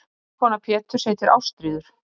eiginkona péturs heitir ástríður